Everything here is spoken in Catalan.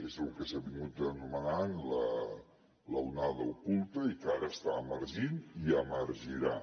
és el que s’ha vingut anomenant l’onada oculta i que ara està emergint i emergirà